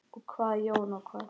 Og hvað Jón, og hvað?